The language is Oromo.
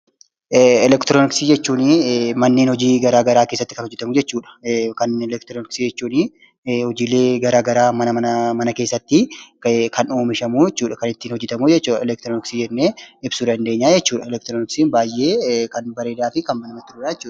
Elektirooniksii jechuun manneen hojii garagaraa keessatti kan hojjetamu jechuudha. Elektirooniksii jechuun hojiilee garagaraa mana keessatti oomishamu kan ittiin hojjetamu elektironiksii jennee ibsuu dandeenya jechuudha. Elektirooniksiin baay'ee kan bareeduufi kan namatti toludha.